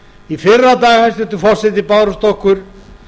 í fyrradag hæstvirtur forseti bárust okkur